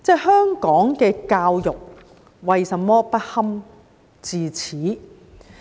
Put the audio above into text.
香港的教育為甚麼不堪至此？